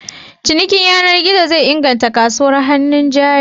Cinikin yanar gizo zai inganta kasuwar hannun jari.